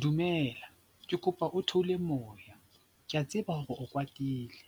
Dumela, ke kopa o theole moya, ke a tseba hore o kwatile.